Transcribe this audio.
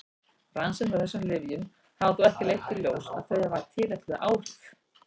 Rannsóknir á þessum lyfjum hafa þó ekki leitt í ljós að þau hafi tilætluð áhrif.